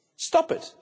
Stop it.